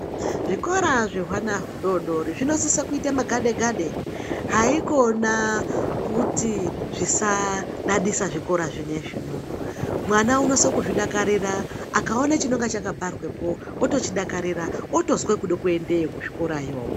Zvikora zvehwana hudodori zvinosise kuite magade gade haikona kuti zvisadadisa zvikora zvinezvi, mwana unonase kuzvidakarira akaone chinenge chakabharwepo otochidakarira otozwa kuda kuendeyo kuzvikorayo.